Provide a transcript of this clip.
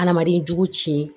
Adamaden jugu ci